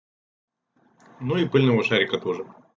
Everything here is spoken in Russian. ну и поняла шарика тоже